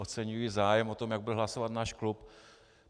Oceňuji zájem o to, jak bude hlasovat náš klub.